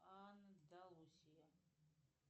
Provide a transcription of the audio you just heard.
андалусия